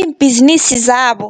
iimbhizinisi zabo.